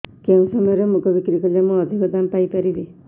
କେଉଁ ସମୟରେ ମୁଗ ବିକ୍ରି କଲେ ମୁଁ ଅଧିକ ଦାମ୍ ପାଇ ପାରିବି